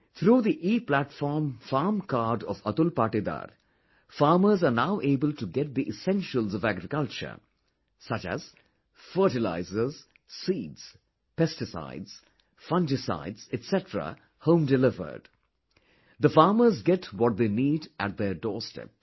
Through the Eplatform farm card of Atul Patidar, farmers are now able to get the essentials of agriculture such as fertilizer, seeds, pesticide, fungicide etc home delivered the farmers get what they need at their doorstep